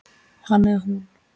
Hann eða hún